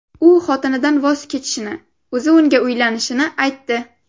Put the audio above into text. U xotinidan voz kechishini, o‘zi unga uylanishini aytdi.